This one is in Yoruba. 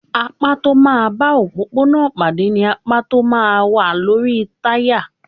Apá tó máa ń bá òpópónà pàdé ni apá tó máa ń wà lórí táyà.